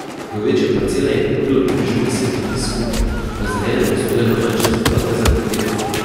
Večje parcele je kupilo približno deset ljudi skupaj, razdeljene pa so bile na manjše zaplate za kampiranje.